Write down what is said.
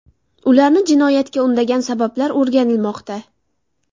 Ularni jinoyatga undagan sabablar o‘rganilmoqda.